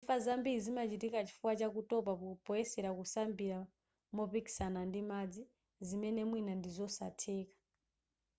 imfa zambiri zimachitika chifukwa cha kutopa poyesera kusambira mopikisana ndi madzi zimene mwina ndizosatheka